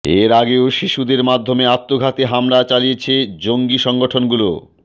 এর আগেও শিশুদের মাধ্যমে আত্মঘাতী হামলা চালিয়েছে জঙ্গি সংগঠনগুলো